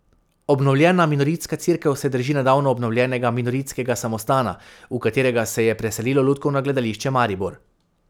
Obnovljena minoritska cerkev se drži nedavno obnovljenega minoritskega samostana, v katerega se je preselilo Lutkovno gledališče Maribor.